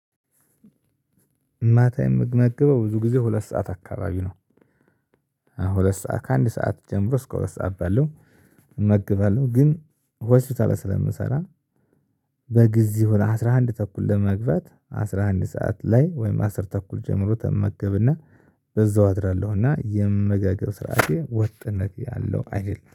ማታ የምመገበው ብዙ ጊዜ ሁለት ሰዓት አካባቢ ነው። ሁለት ሰዓት ከአንድ ሰዓት ጀምሮ እስከ ሁለት ሰዓት ባለው እመገባለሁ ግን ሆስፒታል ውስጥ ስለምሰራ። በጊዜው ለአስራ አንድ ተኩል ለመግባት አስራ አንድ ሰዓት ላይ ወይም አስር ተኩል ጀምሮ እመገብና በዛው አድራለሁ እና የአመጋገብ ስርዓቴ ወጥነት ያለው አይደለም